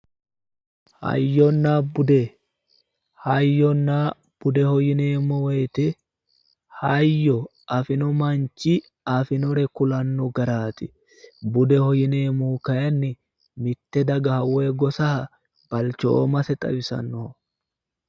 hayyonna bude hayyonna budeho yineemmo wte hayyo afino manchi afinore kulanno garaati budeho yineemmohu kayiinni mitte dagaha woyi gosaha balchoomase xawisanno